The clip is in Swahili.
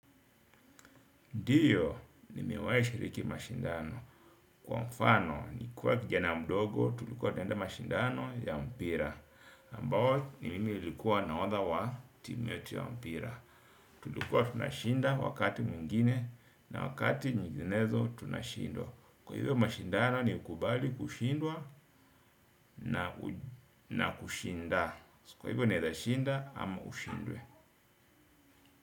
Ndiyo, nimewahi shiriki mashindano. Kwa mfano, nikiwa kijana mdogo, tulikuwa tunaenda mashindano ya mpira. Ambao, ni mimi nilikuwa nahodha wa timu yetu ya mpira. Tulikuwa tunashinda wakati mwingine na wakati nyiginezo tunashindwa. Kwa hivyo mashindano, ni ukubali kushindwa na kushinda. Kwa hivyo, unaeza shinda ama ushindwe.